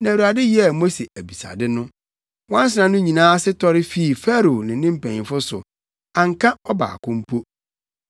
na Awurade yɛɛ Mose abisade no. Nwansena no nyinaa ase tɔre fii Farao ne ne mpanyimfo so; anka ɔbaako mpo.